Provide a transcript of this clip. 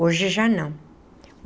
Hoje já não.